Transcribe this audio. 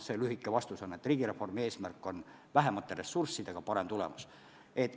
Lühike vastus on, et riigireformi eesmärk on vähemate ressurssidega saada parem tulemus.